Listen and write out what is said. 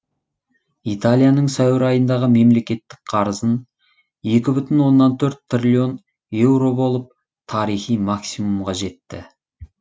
италияның сәуір айындағы мемлекеттік қарызы екі бүтін оннан төрт триллион еуро болып тарихи максимумға жетті